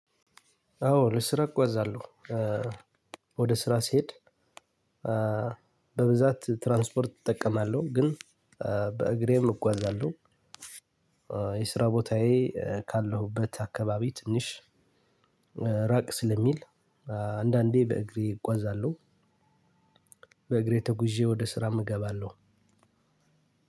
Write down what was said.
አዎ ለስራ እጓዛለሁ ወደ ስራ ስሄድ በብዛት ትራንስፖርት እጠቀማለሁ ግን በእግሬም እጓዛለሁ የስራ ቦታዬ ካለሁበት አካባቢ ትንሽ ራቅ ስለሚል አንዳንዴ በእግሬ እጓዛለሁ በእግሬ ተጉዤ ወደ ስራ እገባለሁ።